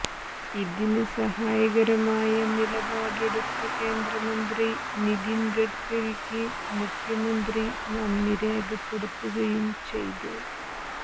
ഇതിന് സഹായകരമായ നിലപാടെടുത്ത കേന്ദ്രമന്ത്രി നിതിൻ ഗഡ്കരിക്ക് മുഖ്യമന്ത്രി നന്ദി രേഖപ്പെടുത്തുകയും ചെയ്തു